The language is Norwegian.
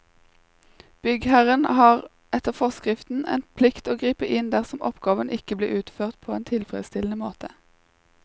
Byggherren har etter forskriften en plikt til å gripe inn dersom oppgaven ikke blir utført på en tilfredsstillende måte.